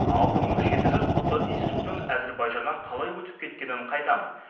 алты мың жеті жүз құты иіссудың әзербайжаннан қалай өтіп кеткенін қайдам